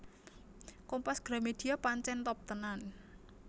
Kompas Gramedia pancen top tenan